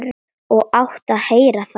Og áttum að heyra það.